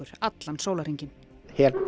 allan sólarhringinn